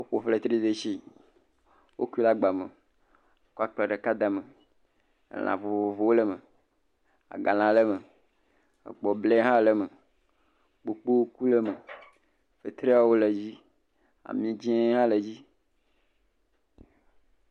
Woƒo fetridetsi. Woku ɖe agba me kɔ akplẽ ɖeka da ɖe me. Lã vovovowo le eme; agalã ha le me, kpobli hã le eme, kpokpoŋku le eme, fetriwo le edzi. Ami dzɛ̃ hã le edzi.